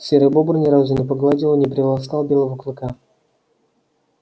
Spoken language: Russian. серый бобр ни разу не погладил и не приласкал белого клыка